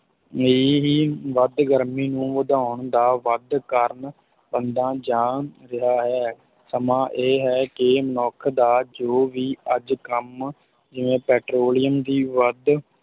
ਇਹੀ ਵੱਧ ਗਰਮੀ ਨੂੰ ਵਧਾਉਣ ਦਾ ਵੱਧ ਕਾਰਨ ਬਣਦਾ ਜਾ ਰਿਹਾ ਹੈ, ਸਮਾਂ ਇਹ ਹੈ ਕਿ ਮੱਨੁਖ ਦਾ ਜੋ ਵੀ ਅੱਜ ਕੰਮ ਜਿਵੇਂ ਪੈਟ੍ਰੋਲੀਅਮ ਦੀ ਵੱਧ,